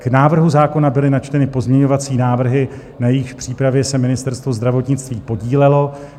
K návrhu zákona byly načteny pozměňovací návrhy, na jejíž přípravě se Ministerstvo zdravotnictví podílelo.